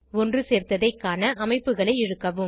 ஒன்றுசேர்த்ததை காண அமைப்புகளை இழுக்கவும்